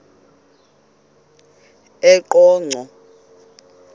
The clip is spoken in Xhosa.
eqonco